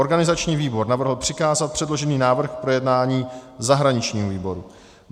Organizační výbor navrhl přikázat předložený návrh k projednání zahraničnímu výboru.